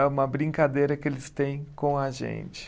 É uma brincadeira que eles têm com a gente.